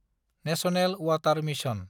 national water mission